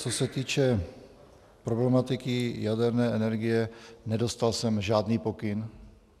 Co se týče problematiky jaderné energie, nedostal jsem žádný pokyn.